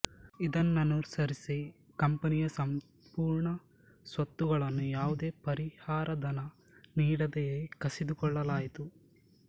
ಇದನ್ನನುಸರಿಸಿ ಕಂಪನಿಯ ಸಂಪೂರ್ಣ ಸ್ವತ್ತುಗಳನ್ನು ಯಾವುದೇ ಪರಿಹಾರಧನ ನೀಡದೆಯೇ ಕಸಿದುಕೊಳ್ಳಲಾಯಿತು